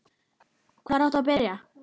Hvar áttu að byrja?